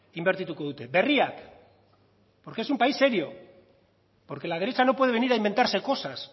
inbertituko dute berriak porque es un país serio porque la derecha no puede venir a inventarse cosas